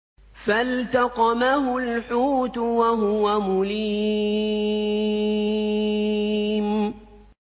فَالْتَقَمَهُ الْحُوتُ وَهُوَ مُلِيمٌ